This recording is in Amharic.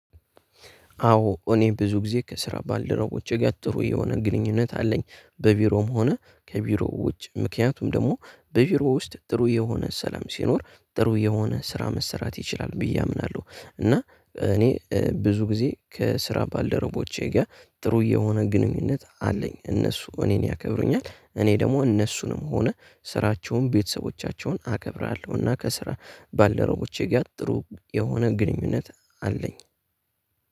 አዎ እኔ ብዙ ጊዜ ከስራ ባልደረቦቼ ጋር ጥሩ የሆነ ግንኙነት አለኝ። በቢሮም ሆነ ከቢሮው ውጭ። ምክንያቱም ደግሞ በቢሮ ውስጥ ጥሩ የሆነ ሰላም ሲኖር ጥሩ የሆነ ስራ መሰራት ይችላል ብዬ አምናለሁ እና እኔ ብዙ ጊዜ ከስራ ባልደረቦቼ ጋር ጥሩ የሆነ ግንኙነት አለኝ እነሱ እኔን ያከብሩኛል እኔ ደግሞ እነሱንም ሆነ ስራቸውን ቤተሰቦቻቸውን አከብራለሁና ከስራ ባልደረቦቼ ጋር ጥሩ የሆነ ግንኙነት አለኝ።